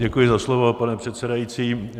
Děkuji za slovo, pane předsedající.